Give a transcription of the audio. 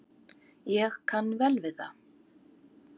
Ég kann vel við það.